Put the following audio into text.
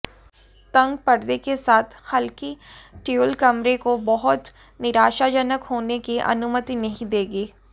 तंग पर्दे के साथ हल्की ट्यूल कमरे को बहुत निराशाजनक होने की अनुमति नहीं देगी